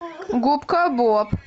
губка боб